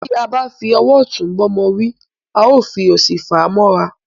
Tí a bá fi owó òtún bá ọmọ wí, àá fi owó òsì fà á móra